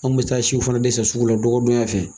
An bɛ taa siw fana de san sugu la dɔgɔdonyaw fɛ.